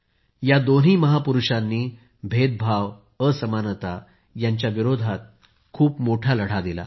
या दोन्ही महापुरूषांनी भेदभाव असमानता यांच्या विरोधात खूप मोठा लढा दिला